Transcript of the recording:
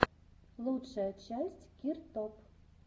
лучшая часть киртоп